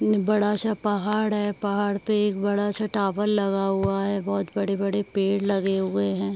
बड़ा सा पहाड़ है पहाड़ पे एक बड़ा सा टॉवर लगा हुआ है बहोत बड़े-बड़े पेड़ लगे हुए हैं।